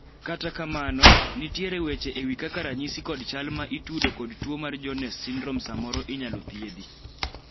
kata kamano, nitiere weche ewi kaka ranyisi kod chal ma itudo kod tuo mar Jones syndrome samoro inyalo thiedhi